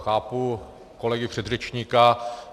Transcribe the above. Chápu kolegu předřečníka.